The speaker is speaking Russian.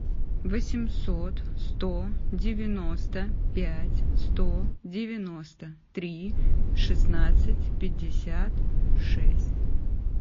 восемьсот сто девяносто пять сто девяносто три шестнадцать пятьдесят шесть